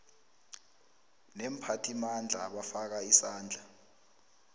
neemphathimandla abafaka isandla